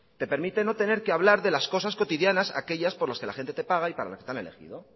te permite no tener que hablar de las cosas cotidianas aquellas por las que la gente te paga y para las que te han elegido